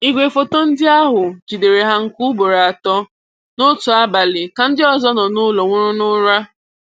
Igwefoto ndị ahụ jidere ha nke ugboro atọ n'otu abalị ka ndị ọzọ nọ n'ụlọ nwụrụ n'ụra.